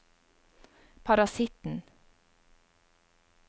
parasitten